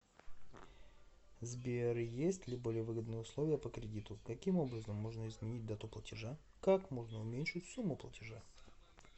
сбер есть ли более выгодные условия по кредиту каким образом можно изменить дату платежа как можно уменьшить сумму платежа